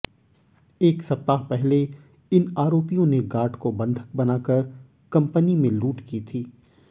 एक सप्ताह पहले इन आरोपियों ने गार्ड को बंधक बनाकर कंपनी में लूट की थी